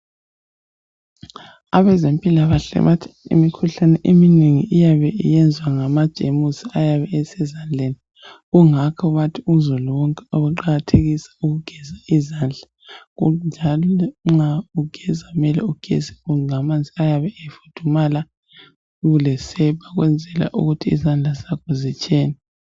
Abezempila kahle bathi imikhuhlane eminengi iyabe iyezwa ngamajemusi ayabe esezandleni kungakho bathi uzulu wonke akuqakathekise ukugeza izandla njalo nxa ugeza kumele ugeze ngamanzi ayabe efudumala ulesepa ukwenzela ukuthi izandla zakho zitshene